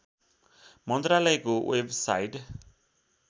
मन्त्रालयको वेबसाइट